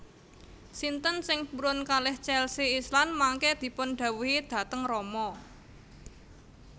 Sinten sing purun kalih Chelsea Islan mangke dipun dhawuhi dhateng rama